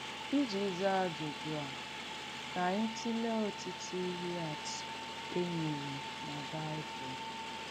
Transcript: Ijì zaa àjùjú a, kà ànyị̣ tùleè ọ̀tụ́tụ̀ ìhé àtụ̀ ènyèrì nà Bị̀bụ̀l̀.